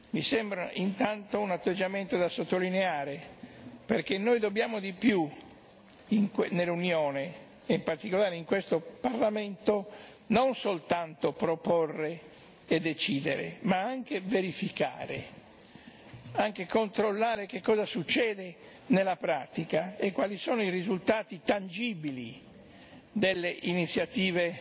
Mi sembra intanto un atteggiamento da sottolineare, perché noi dobbiamo di più, nell'Unione e in particolare in questo Parlamento, non soltanto proporre e decidere, ma anche verificare, anche controllare che cosa succede nella pratica e quali sono i risultati tangibili delle iniziative